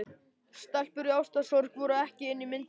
Stelpur í ástarsorg voru ekki inni í myndinni.